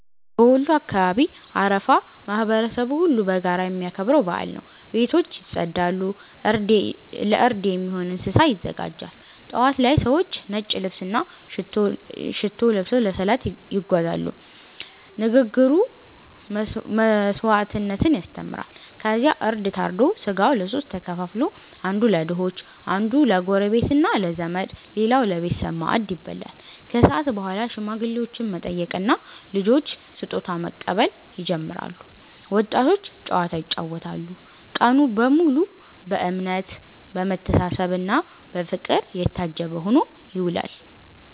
በወሎ አካባቢ አረፋ ማህበረሰቡ ሁሉ በጋራ የሚያከብረው በዓል ነው። ቤቶች ይጸዳሉ፣ እርድ የሚሆን እንስሳ ይዘጋጃል። ጠዋት ላይ ሰዎች ነጭ ልብስና ሽቶ ለብሰው ለሰላት ይጓዛሉ፤ ንግግሩ መስዋዕትነትን ያስተምራል። ከዚያ እርድ ታርዶ ሥጋው ለሦስት ተከፍሎ፦ አንዱ ለድሆች፣ አንዱ ለጎረቤትና ለዘመድ፣ ሌላው ለቤተሰብ ማዕድ ይበላል። ከሰዓት በኋላ ሽማግሌዎችን መጠየቅና ልጆች ስጦታ መቀበል ይጀምራል፤ ወጣቶች ጨዋታ ይጫወታሉ። ቀኑ በሙሉ በእምነት፣ በመተሳሰብና በፍቅር የታጀበ ሆኖ ይውላል።